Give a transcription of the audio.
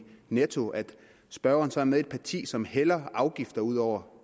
netto at spørgeren så er med i et parti som hælder afgifter ud over